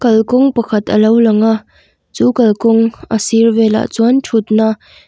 kalkawng pakhat a lo lang a chu kalkawng a sir velah chuan thutna --